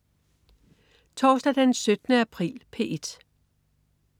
Torsdag den 17. april - P1: